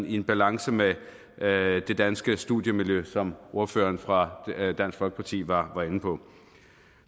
i balance med det danske studiemiljø som ordføreren fra dansk folkeparti var inde på